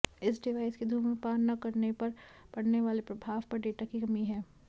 इस डिवाइस के धूम्रपान न करने पर पड़ने वाले प्रभाव पर डेटा की कमी है